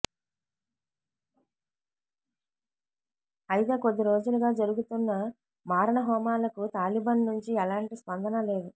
అయితే కొద్ది రోజులుగా జరుగుతున్న మారణ హోమాలకు తాలిబన్ నుంచి ఎలాంటి స్పందనా లేదు